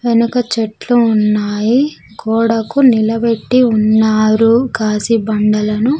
వెనక చెట్లు ఉన్నాయి గోడకు నిలబెట్టి ఉన్నారు కాసి బండలను.